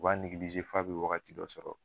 U b'a nigilize f'a bɛ wagati dɔ sɔrɔ.